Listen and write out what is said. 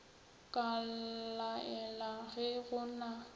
ka laela ge go na